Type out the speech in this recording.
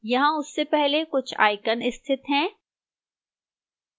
यहां उससे पहले कुछ icons स्थित हैं